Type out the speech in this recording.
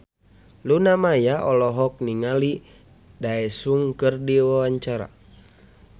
Luna Maya olohok ningali Daesung keur diwawancara